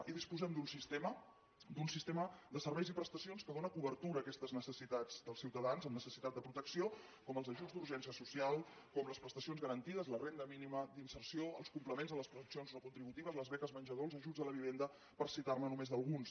i disposem d’un sistema de serveis i prestacions que dóna cobertura a aquestes necessitats dels ciutadans amb necessitat de protecció com els ajuts d’urgència social com les prestacions garantides la renda mínima d’inserció els complements a les pensions no contributives les beques menjador els ajuts a l’habitatge per citar ne només alguns